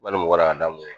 Wali mɔgɔ ladamu ye